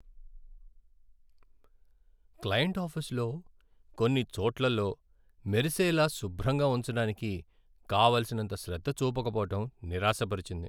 Client ఆఫీసులో కొన్ని చోట్లలో మెరిసేలా శుభ్రంగా ఉంచడానికి కావలసినంత శ్రద్ధ చూపకపోవడం నిరాశపరిచింది.